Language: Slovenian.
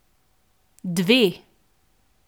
Dve!